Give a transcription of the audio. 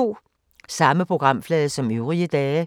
Samme programflade som øvrige dage